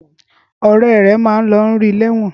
Õrè ré máa lọ rí ní ẹ̀wọ̀n.